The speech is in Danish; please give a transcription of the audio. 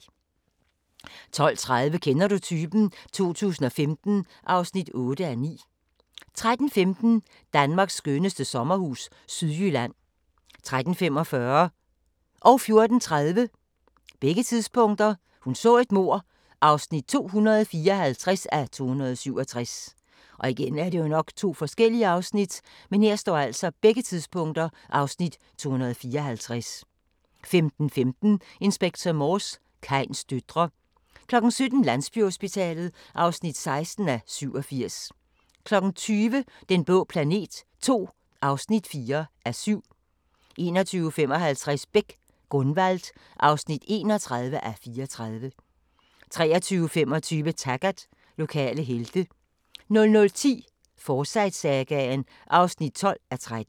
12:30: Kender du typen? 2015 (8:9) 13:15: Danmarks skønneste sommerhus – Sydjylland 13:45: Hun så et mord (254:267) 14:30: Hun så et mord (254:267) 15:15: Inspector Morse: Kains døtre 17:00: Landsbyhospitalet (16:87) 20:00: Den blå planet II (4:7) 21:55: Beck: Gunvald (31:34) 23:25: Taggart: Lokale helte 00:10: Forsyte-sagaen (12:13)